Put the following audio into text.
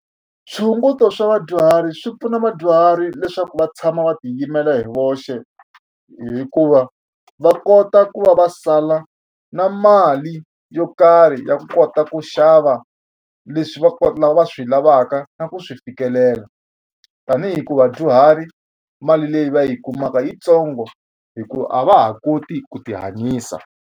Swihunguto swa vadyuhari swi pfuna vadyuhari leswaku va tshama va tiyimela hi voxe hikuva va kota ku va va sala na mali yo karhi ya kota ku xava leswi va swi lavaka na ku swi fikelela tanihi ku vadyuhari mali leyi va yi kumaka yitsongo hikuva a va ha koti ku ti hanyisa.